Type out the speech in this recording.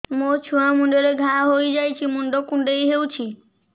ମୋ ଛୁଆ ମୁଣ୍ଡରେ ଘାଆ ହୋଇଯାଇଛି ମୁଣ୍ଡ କୁଣ୍ଡେଇ ହେଉଛି